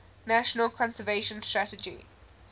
national conservation strategy